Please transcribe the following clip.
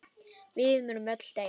Við munum öll deyja.